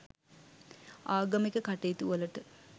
ආගමික කටයුතුවලට